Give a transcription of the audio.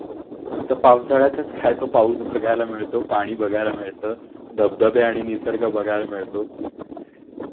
फक्त पावसाळ्यात च काय तो पाऊस बघायला मिळतो पाणी बघायला मिळत धबधबे आणि निसर्ग बघायला मिळतो